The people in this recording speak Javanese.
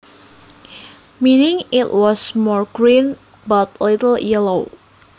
Meaning it was more green but a little yellow